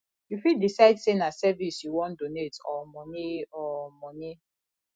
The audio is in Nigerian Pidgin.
you fit decide sey na service you wan donate or money or money